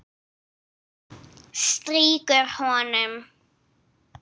Strýkur honum.